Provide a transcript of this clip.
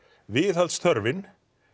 viðhaldsþörfin